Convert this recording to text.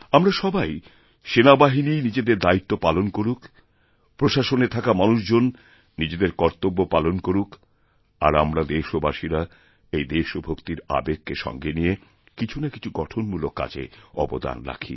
আমরা সবাই সেনাবাহিনী নিজেদের দায়িত্ব পালন করুকপ্রশাসনে থাকা মানুষজন নিজেদের কর্তব্য পালন করুক আর আমরা দেশবাসীরা এই দেশভক্তিরআবেগকে সঙ্গে নিয়ে কিছুনাকিছু গঠনমূলক কাজে অবদান রাখি